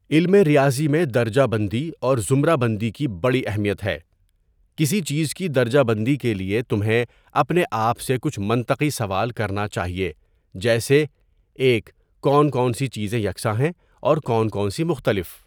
علم ریاضی میں درجہ بندی اور زمرہ بندی کی بڑی اہمیت ہے کسی چیز کی درجہ بندی کے لیے تمہیں اپنے آپ سے کچھ منطقی سوال کرنا چاہیے جیسے ۱ کون کون سی چیزیں یکساں ہیں اور کون کون سی مختلف؟.